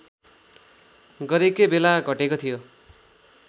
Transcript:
गरकै बेला घटेको थियो